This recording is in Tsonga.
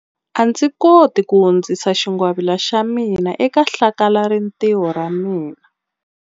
A ndzi koti ku hundzisa xingwavila xa mina eka hlakalarintiho ra ra mina.